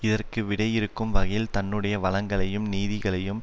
இதற்கு விடையிறுக்கும் வகையில் தன்னுடைய வளங்களையும் நிதியங்களையும்